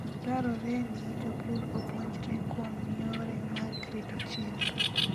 Dwarore ni jopur opuonjre kuom yore mag rito chiemo.